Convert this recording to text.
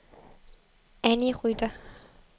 Anny Rytter